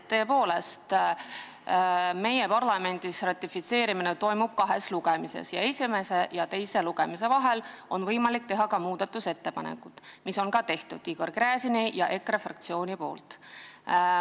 Tõepoolest, meie parlamendis on ratifitseerimiseks vaja kahte lugemist ning esimese ja teise lugemise vahel on võimalik teha muudatusettepanekuid, mida tegid Igor Gräzin ja EKRE fraktsioon.